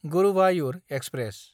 Guruvayur express